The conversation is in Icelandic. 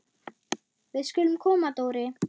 Við skulum koma Dóri!